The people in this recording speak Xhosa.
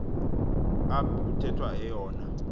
ap kuthethwa eyona